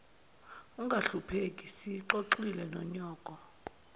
ungahlupheki siyixoxile nonyoko